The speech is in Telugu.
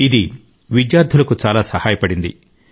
ఇది ఆమె విద్యార్థులకు చాలా సహాయపడింది